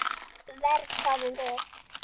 Verr, hváðum við.